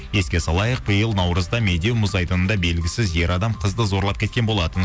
еске салайық биыл наурызда медеу мұз айдынында белгісіз ер адам қызды зорлап кеткен болатын